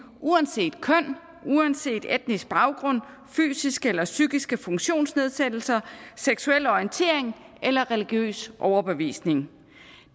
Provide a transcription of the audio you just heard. uanset køn uanset etnisk baggrund fysiske eller psykiske funktionsnedsættelser seksuel orientering eller religiøs overbevisning